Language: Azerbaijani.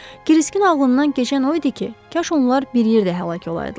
Kriskın ağlından keçən o idi ki, kaş onlar bir yerdə həlak olaydılar.